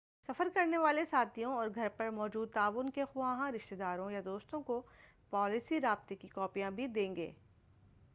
سفر کرنے والے ساتھیوں، اور گھر پر موجود تعاون کے خواہاں رشتہ داروں یا دوستوں کو پالیسی/رابطے کی کاپیاں بھی دے دیں۔